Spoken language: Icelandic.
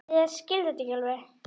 Ég skil þetta ekki alveg.